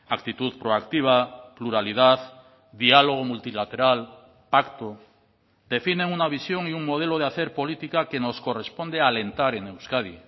actitud proactiva pluralidad diálogo multilateral pacto definen una visión y un modelo de hacer política que nos corresponde alentar en euskadi